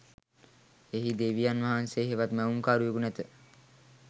එහි දෙවියන් වහන්සේ හෙවත් මැවුම්කරුවකු නැත